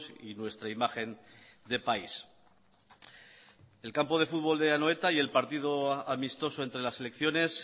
y nuestra imagen de país el campo de fútbol de anoeta y el partido amistoso entre las selecciones